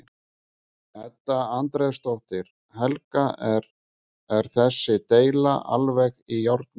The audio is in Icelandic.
Edda Andrésdóttir: Helga er þessi deila alveg í járnum?